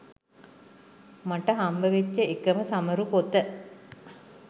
මට හම්බ වෙච්ච එකම සමරු පොත.